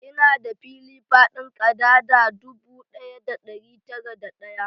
Ina da fili faɗin kadada dubu ɗaya da ɗari tara da ɗaya